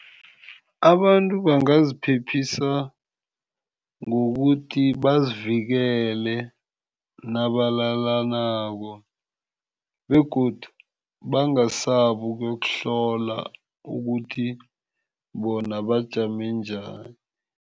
Abantu bangaziphephisa ngokuthi bazivikele nabalalanako begodu bangasabi ukuyokuhlola ukuthi bona bajame njani.